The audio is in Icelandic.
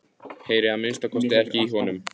Heyri að minnsta kosti ekki í honum.